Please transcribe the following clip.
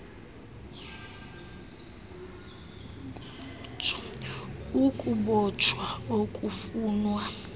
g ukubotshwa okufunwa